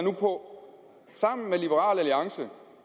på sammen med liberal alliance